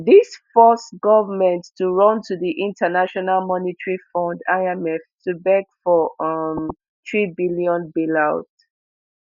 dis force goment to run to di international monetary fund imf to beg for um threebn bailout